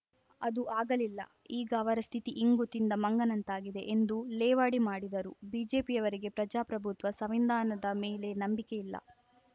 ಅದು ಆಗಲಿಲ್ಲ ಈಗ ಅವರ ಸ್ಥಿತಿ ಇಂಗು ತಿಂದ ಮಂಗನಂತಾಗಿದೆ ಎಂದು ಲೇವಡಿ ಮಾಡಿದರು ಬಿಜೆಪಿಯವರಿಗೆ ಪ್ರಜಾಪ್ರಭುತ್ವ ಸವಿಂಧಾನದ ಮೇಲೆ ನಂಬಿಕೆ ಇಲ್ಲ